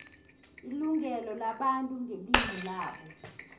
ilungelo labantu ngelimu labo